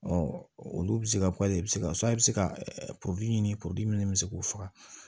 olu bɛ se ka bɛ se ka bɛ se ka ɲini min bɛ se k'o faga